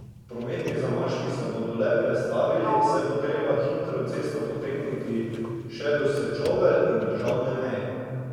Prometni zamaški se bodo le prestavili, saj bo treba hitro cesto potegniti še do Sečovelj in državne meje.